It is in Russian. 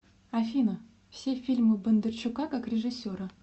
афина все фильмы бондарчука как режиссера